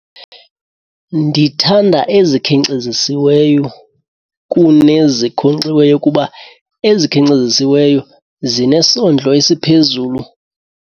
Ndithanda ezikhenkcezisiweyo kunezinkonkxiweyo kuba ezikhenkcezisiweyo zinesondlo esiphezulu.